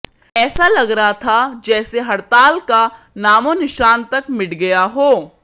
ऐसा लग रहा था जैसे हड़ताल का नामोनिशान तक मिट गया हो